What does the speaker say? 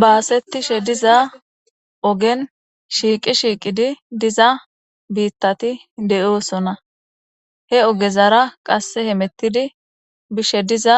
baasetishe diza ogen shiiqi shiiqidi diza biittati de7oosona he ogezara qasse hemettidi bishe diza